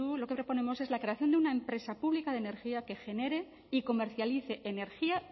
lo que proponemos es la creación de una empresa pública de energía que genere y comercialice energía